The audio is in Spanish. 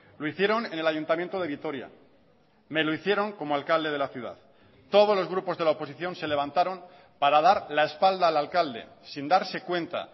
lo hicieron en el ayuntamiento de vitoria me lo hicieron como alcalde de la ciudad todos los grupos de la oposición se levantaron para dar la espalda al alcalde sin darse cuenta